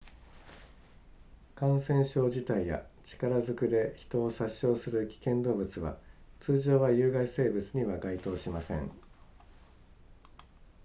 感染症自体や力ずくで人を殺傷する危険動物は通常は有害生物には該当しません